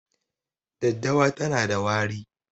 Daddawa tana da wari